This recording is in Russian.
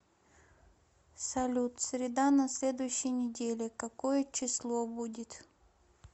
салют среда на следующей неделе какое число будет